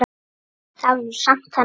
Það var nú samt þannig.